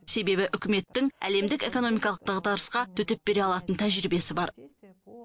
себебі үкіметтің әлемдік экономикалық дағдарысқа төтеп бере алатын тәжірибесі бар